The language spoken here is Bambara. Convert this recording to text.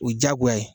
O ye diyagoya ye